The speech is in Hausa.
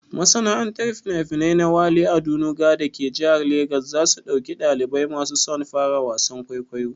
Masana'antar finafinai na Wale Adenuga dake jihar Legas za su ɗauki ɗalibai masu son fara wasan kwaikwayo.